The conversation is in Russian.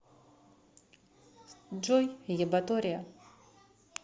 джой ебатория